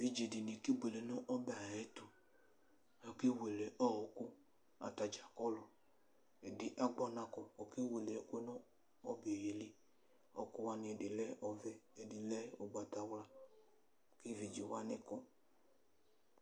Evidze dini kebuele nʋ ɔbɛ ayʋ ɛtʋ, akawele ɔkʋ, atadza kɔlʋ ɛdi agbɔ ɔnakɔ kʋ ɔkewele ɛkʋ yɛ nʋ ɔbɛ yɛli Ɔkʋwani ɛdi lɛ ɔvɛ, ɛdi lɛ ʋgbatawla, kʋ evidzewani kɔ